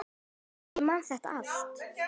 Já, ég man þetta allt.